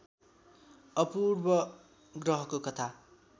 अपूर्व ग्रहको कथा